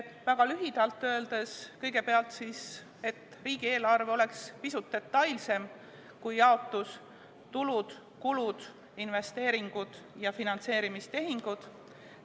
Väga lühidalt öeldes, kõigepealt, riigieelarve peaks olema pisut detailsem kui jaotus: tulud, kulud, investeeringud ja finantseerimistehingud.